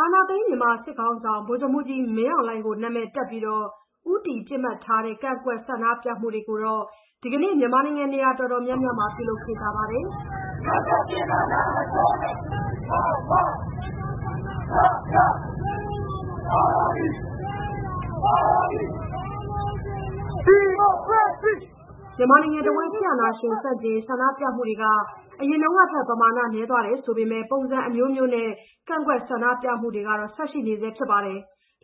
အာဏာသိမ်း မြန်မာစစ်ခေါင်းဆောင် ဗိုလ်ချုပ်မှူးကြီးမင်းအောင်လှိုင်ကို နာမည်တပ်ပြီး ဦးတည်ပစ်မှတ်ထားတဲ့ ကန့်ကွက်ဆန္ဒပြမှုတွေ မြန်မာနိုင်ငံ နေရာအတော်များများမှာ လုပ်ခဲ့ကြပါတယ်။ မြန်မာနိုင်ငံတဝန်း စစ်အာဏာရှင်ဆန့်ကျင်ရေး ဆန္ဒပြမှုတွေ အရင်တုန်းကထက် ပမာဏနည်းသွားပေမယ့် ပုံစံအမျိုးမျိုးနဲ့ ကန့်ကွက် ဆန္ဒပြမှုတွေကတော့ ဆက်ရှိနေဆဲပါ။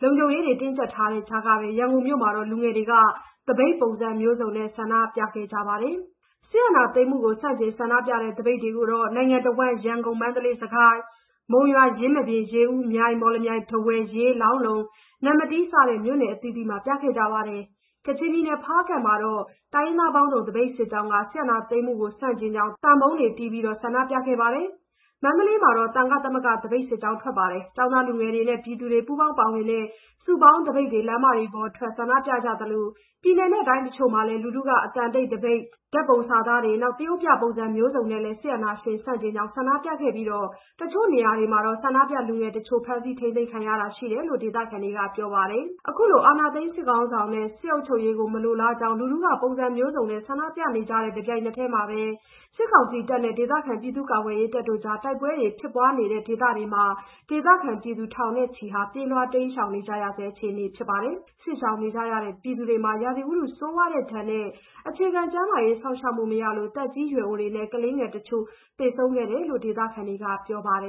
လုံခြုံရေးတွေ တင်းကျပ်တဲ့ကြားကပဲ ရန်ကုန်မြို့မှာ လူငယ်တွေက သပိတ်ပုံစံမျိုးစုံနဲ့ ဆန့်ကျင် ဆန္ဒပြခဲ့ကြတာပါ။ စစ်အာဏာသိမ်းမှုကို ဆန့်ကျင်ဆန္ဒပြတဲ့ သပိတ်တွေကို နိုင်ငံတဝန်း ရန်ကုန်၊ မန္တလေး၊ စစ်ကိုင်း၊ မုံရွာ၊ ယင်းမာပင်၊ ရေဦး၊ မြိုင်၊ မော်လမြိုင်၊ ထားဝယ်၊ ရေး၊ လောင်းလုံ၊ နမ္မတီး စတဲ့ မြို့အသီးသီးမှာ ရှိခဲ့ပါတယ်။ ကချင်ပြည်နယ် ဖားကန့်မြို့မှာတော့ တိုင်းရင်းသားပေါင်းစုံ သပိတ်စစ်ကြောင်းက စစ်အာဏာသိမ်းမှုကို ဆန့်ကျင်ကြောင်းနဲ့ စစ်အာဏာရှင်စနစ် အလိုမရှိကြောင်း သံပုံးတွေတီးပြီး ဆန္ဒပြခဲ့ကြပါတယ်။ မန္တလေးမြို့မှာ သံဃသမဂ္ဂ သပိတ်စစ်ကြောင်းတွေ၊ ကျောင်းသားလူငယ်တွေနဲ့ ပြည်သူတွေ ပူးပေါင်းပါဝင်တဲ့ စုပေါင်းသပိတ်တွေ လမ်းမတွေပေါ်ထွက် ဆန္ဒပြသလို ပြည်နယ်နဲ့ တိုင်းတချို့မှာလည်း လူထုက အသံတိတ်သပိတ် ဓာတ်ပုံစာသားတွေနဲ့ သရုပ်ပြပုံစံမျိုးစုံတွေနဲ့လည်း စစ်အာဏာရှင်ဆန့်ကျင်ကြောင်း ဆန္ဒပြခဲ့ကြပြီး တချို့နေရာတွေမှာတော့ ဆန္ဒပြလူငယ်တချို့ ဖမ်းဆီးထိန်းသိမ်းခံရတာ ရှိတယ်လို့ ဒေသခံတွေက ပြောပါတယ်။ အခုလို အာဏာသိမ်းစစ်ခေါင်းဆောင်နဲ့ စစ်အုပ်ချုပ်ရေး လက်မခံကြောင်း လူထုက ပုံစံမျိုးစုံနဲ့ ဆန္ဒပြနေချိန်နဲ့ တပြိုင်နက်တည်းမှာပဲ စစ်ကောင်စီတပ်တွေနဲ့ ဒေသခံ ပြည်သူ့ကာကွယ်ရေးတပ်တို့ကြား တိုက်ပွဲတွေ ဖြစ်ပွားနေတဲ့ ဒေသတွေမှာလည်း ဒေသခံပြည်သူ ထောင်နဲ့ချီဟာ ပြေးလွှားတိမ်းရှောင်နေကြဆဲ အခြေအနေ ဖြစ်ပါတယ်။ စစ်ရှောင်နေကြရတဲ့ ပြည်သူတွေမှာ ရာသီဥတု ဆိုးဝါးတဲ့ဒဏ်နဲ့ အခြေခံ ကျန်းမာရေးစောင့်ရှောက်မှု မရလို့ သက်ကြီးရွယ်အိုတွေနဲ့ ကလေးငယ် သေဆုံးမှုတချို့ ရှိနေတယ်လို့ ဒေသခံတွေက ပြောပါတယ်။